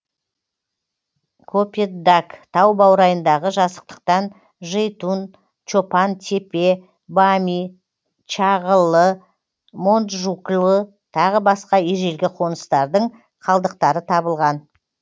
копетдаг тау баурайындағы жазықтықтан жейтун чопан тепе бами чағыллы монджуклы тағы басқа ежелгі қоныстардың қалдықтары табылған